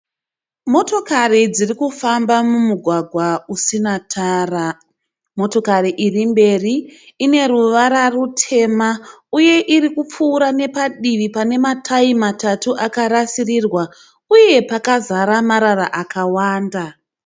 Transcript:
Motokari dzirikufamba mumugwagwa usina tara. Motokari iri mberi ine ruvara rutema uye irikupfuura nepadivi pane matayi matatu akarasirirwa uye pakazara marara akawanda.